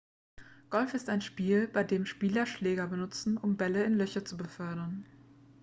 golf ist ein spiel bei dem spieler schläger benutzen um bälle in löcher zu befördern